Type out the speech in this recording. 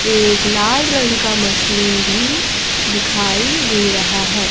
एक लाल रंग का मशीन भी दिखाई दे रहा है।